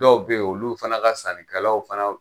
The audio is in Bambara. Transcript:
dɔw be ye olu fana ka sannikɛlaw fana